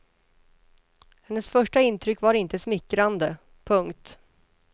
Hennes första intryck var inte smickrande. punkt